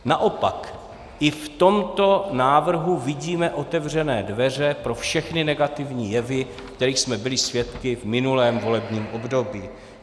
Naopak i v tomto návrhu vidíme otevřené dveře pro všechny negativní jevy, kterých jsme byli svědky v minulém volebním období.